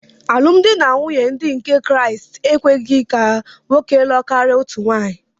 Alụmdi na nwunye ndị nke Kraịst enyeghị ka nwoke lụọ karịa otu nwaanyị.